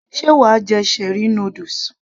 sé wàá jẹ cherie noodles